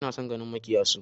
Ina son ganin maƙyassu